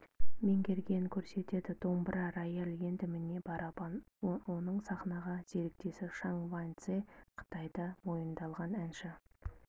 меңгергенін көрсетеді домбыра рояль енді міне барабан оның саханағы серіктесі шаң ваньцзе қытайда мойындалған әнші